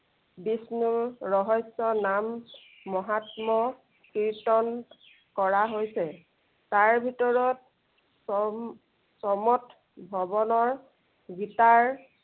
বিষ্ণুৰ ৰহস্য় নাম মহাত্ম কীৰ্তন কৰা হৈছে। তাৰ ভিতৰত স~সমতভৱনৰ গীতাৰ